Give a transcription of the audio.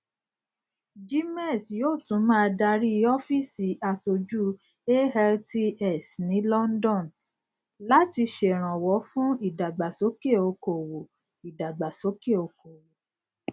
gmex yóò tún máa darí ọfíìsì aṣojú altx ní london láti ṣèrànwọ fún ìdàgbàsókè okòwò ìdàgbàsókè okòwò